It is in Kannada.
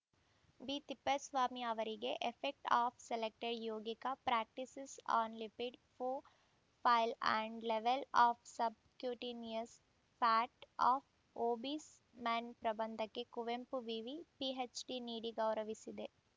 ಬಿ ತಿಪ್ಪೇಸ್ವಾಮಿ ಅವರಿಗೆ effect of selected yogic practices on lipid profile and level of subcutaneous fat of obese men ಪ್ರಬಂಧಕ್ಕೆ ಕುವೆಂಪು ವಿವಿ ಪಿಎಚ್‌ಡಿ ನೀಡಿ ಗೌರವಿಸಿದೆ